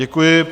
Děkuji.